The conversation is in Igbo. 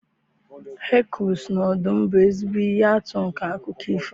Hekuls na ọdụm bụ ezigbo ihe atụ nke akụkọ ifo.